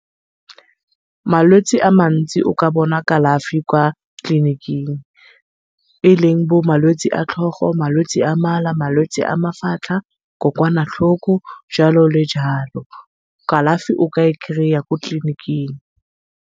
Malwetse a mantsi o ka bona kalafi kwa tleliniking. E leng bo malwetse a tlhogo, malwetse a mala, malwetse a mafatlha, kokoana tlhoko jalo le jalo. Kalafi o ka e kry-a ko tleliniking.